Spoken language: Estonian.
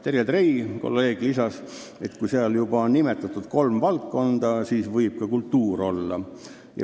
Kolleeg Terje Trei lisas, et kui juba kolm valdkonda on nimetatud, siis võib seal ka kultuur olla.